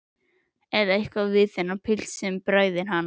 Það er eitthvað við þennan pilt sem bræðir hana.